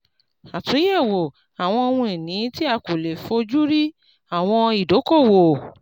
àtúnyẹ̀wò àwọn ohun ìní tí a kò lè fó ojú rí àwọn ìdókòwò.